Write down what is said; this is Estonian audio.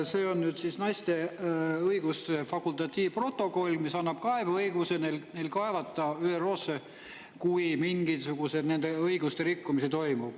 See on nüüd naiste õiguste fakultatiivprotokoll, mis annab kaebeõiguse neil kaevata ÜRO-sse, kui mingisugused nende õiguste rikkumise toimub.